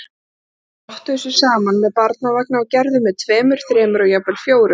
Stelpurnar rottuðu sig saman með barnavagna og gerðu með tveimur, þremur og jafnvel fjórum.